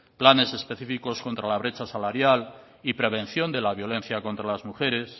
planes específicos contra la brecha salarial y prevención de la violencia contra las mujeres